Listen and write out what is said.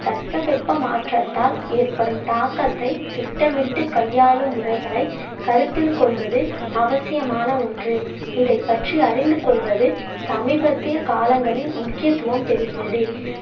தட்ப வெட்ப மாற்றத்தால் ஏற்படும் தாக்கத்தை திட்டமிட்டு கையாளும் முறைகளை கருத்தில் கொள்வது அவசியமான ஒன்று இதைப்பற்றி அறிந்து கொள்வது சமீபத்திய காலங்களில் முக்கியத்துவம் பெறுகிறது